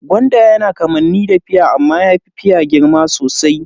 Gwanda yana da kamanni da fia amma yafi fia girma sosai.